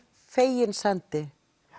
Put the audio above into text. fegins hendi